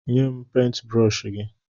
Nye m pentbrọshi gị!